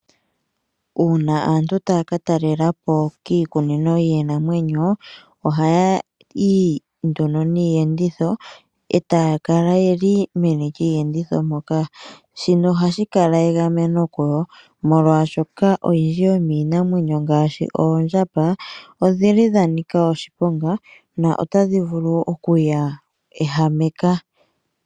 Uuna aantu tay aka talela po kiikunino yiinamwenyo ohaya yi nduno niiyenditho e taya kala ye li meni lyiiyenditho moka. Shino ohashi kala egameno kuyo, molwashoka oyindji yomiinamwenyo mbika ngaashi oondjamba odha nika oshiponga notadhi vulu okuya ehameka.